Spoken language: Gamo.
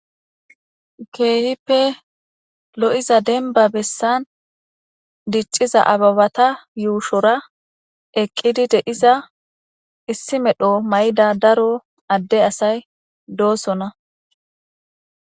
keehippe lo7iza denba bessan dicciza ababata yuushora eqqidi deiza issi medho mayda daro adde asay doosona